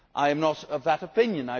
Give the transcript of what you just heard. I am not of that opinion.